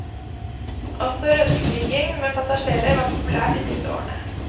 Også rundflyging med passasjerer var populært i disse årene.